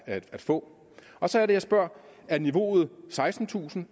at få og så er det jeg spørger er niveauet sekstentusind